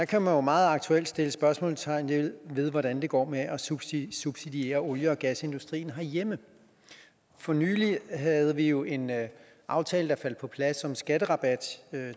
kan man jo meget aktuelt sætte spørgsmålstegn ved hvordan det går med at subsidiere subsidiere olie og gasindustrien herhjemme for nylig havde vi jo en aftale der faldt på plads om skatterabat